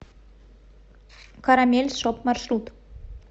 карамель шоп маршрут